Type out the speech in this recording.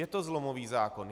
Je to zlomový zákon.